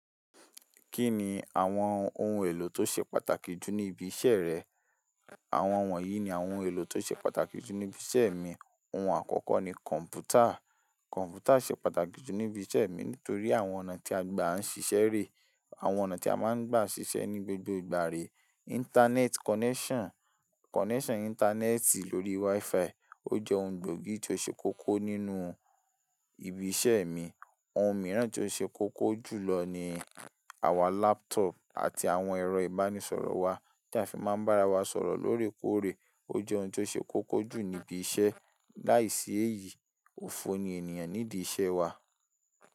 Kí ni àwọn ohun èlò tó ṣe pàtàkì jù ní ibi iṣẹ́ rẹ? Àwọn wọ̀nyí ni àwọn ohun èlò tó ṣe pàtàkì jù níbi iṣẹ́ mi. Ohun àkọ́kọ́ ni kọ̀npútà. Kọ̀npútà ṣe pàtàkì jù níbi iṣẹ́ mi nítorí àwọn ọ̀nà tí a gbà ń ṣiṣẹ́ rẹ̀, àwọn ọ̀nà tí a máa ń gbà ṣiṣẹ́ ní gbogbo ìgbà re. Íńtánẹ́ẹ̀tì connection, connection ìntanẹ́ẹ̀tì lórí WiFi. Ó jẹ́ ohun gbòógì tí ó ṣe kókó nínú ibi iṣẹ́ mi. Ohun mìíràn tí ó ṣe kókó jùlọ ni àwọn laptop àti àwọn ẹ̀rọ ìbánisọ̀rọ̀ wa tí a fi máa ń bá ara wa sọ̀rọ̀ lóòrèkóòrè. Ó jẹ́ ohun tí ó ṣe kókó jù níbi iṣẹ́. Láìsí èyí, òfo ni ènìyàn nídi iṣẹ́ wa.